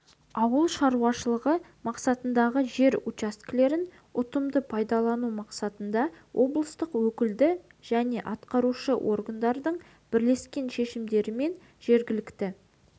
ауыл шаруашылығы мақсатындағы жер учаскелерін ұтымды пайдалану мақсатында облыстық өкілді және атқарушы органдардың бірлескен шешімдерімен жергілікті